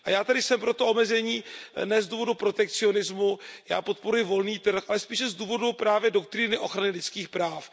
A já tedy jsem pro to omezení ne z důvodu protekcionismu, já podporuji volný trh, ale spíše z důvodu právě doktríny ochrany lidských práv.